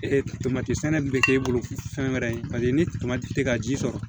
Ee tomati sɛnɛ de bi kɛ e bolo fɛn wɛrɛ ye paseke ni tɛ ka ji sɔrɔ